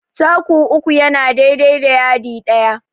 Taku uku yana dai dai da yadi ɗaya.